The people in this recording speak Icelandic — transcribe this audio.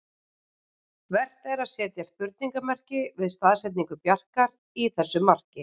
Vert er að setja spurningarmerki við staðsetningu Bjarkar í þessu marki.